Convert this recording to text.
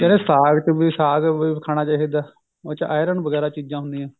ਸਾਗ ਕਹਿੰਦੇ ਸਾਗ ਵੀ ਖਾਣਾ ਚਾਹਿਦਾ ਹੈ ਉਹਦੇ ਚ iron ਵਗੇਰਾ ਚੀਜਾਂ ਹੁੰਦੀਆਂ ਨੇ